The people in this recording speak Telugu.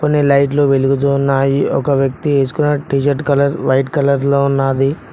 కొన్ని లైట్లు వెలుగుతూ ఉన్నాయి ఒక వ్యక్తి తీసుకుని టీ-షర్ట్ కలర్ వైట్ కలర్ లో ఉన్నది.